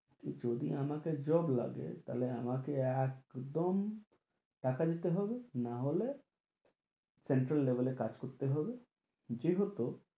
যদি আমার job লাগে তাহলে আমাকে একদম টাকা দিতে হবে নাহলে central level এ কাজ করতে হবে যেহেতু